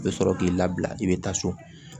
I bɛ sɔrɔ k'i labila i bɛ taa so